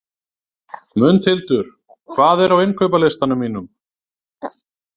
Mundhildur, hvað er á innkaupalistanum mínum?